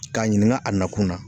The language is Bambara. K'a ɲininka a nakun na.